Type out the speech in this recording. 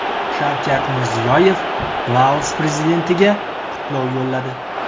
Shavkat Mirziyoyev Laos prezidentiga qutlov yo‘lladi.